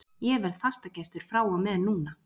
Ég verð fastagestur frá og með núna!